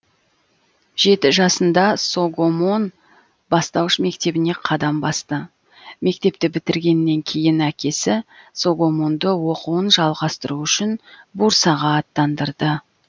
жеті жасында согомон бастауыш мектебіне қадам басты мектепті бітіргеннен кейін әкесі согомонды оқуын жалғастыру үшін бурсаға аттандырды